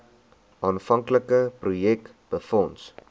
aanvanklike projek befonds